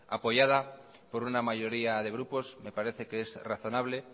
apoyada por una mayoría de grupos me parece que es razonable